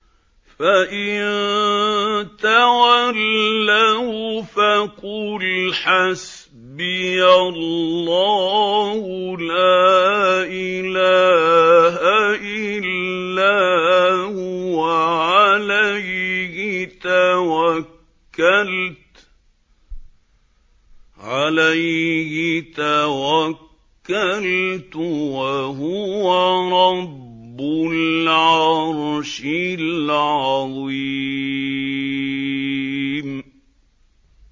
فَإِن تَوَلَّوْا فَقُلْ حَسْبِيَ اللَّهُ لَا إِلَٰهَ إِلَّا هُوَ ۖ عَلَيْهِ تَوَكَّلْتُ ۖ وَهُوَ رَبُّ الْعَرْشِ الْعَظِيمِ